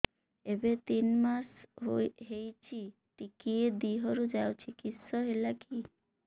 ଏବେ ତିନ୍ ମାସ ହେଇଛି ଟିକିଏ ଦିହରୁ ଯାଉଛି କିଶ ହେଲାକି